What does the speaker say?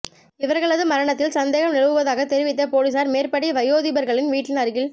இவர்களது மரணத்தில் சந்தேகம் நிலவுவதாக தெரிவித்த பொலிஸார் மேற்படி வயோதிபர்களின் வீட்டின் அருகில்